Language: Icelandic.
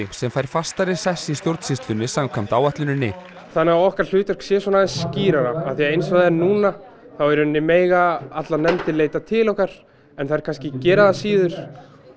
sem fær fastari sess í stjórnsýslunni samkvæmt áætluninni þannig að okkar hlutverk sé aðeins skýrara því eins og það er núna þá mega allar nefndir leita til okkar en þær kannski gera það síður